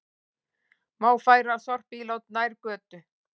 Má færa sorpílát nær götu